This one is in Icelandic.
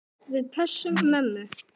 Við pössum mömmu.